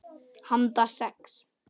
Handa sex